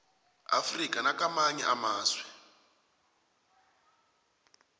afrika nakamanye amazwe